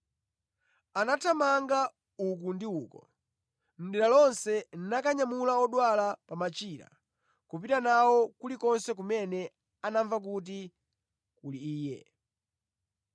Anathamanga uku ndi uko mʼdera lonse nakanyamula odwala pa machira kupita nawo kulikonse kumene anamva kuti kuli Iye.